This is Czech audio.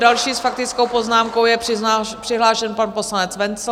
Další s faktickou poznámkou je přihlášen pan poslanec Wenzl.